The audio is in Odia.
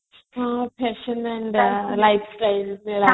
lifestyle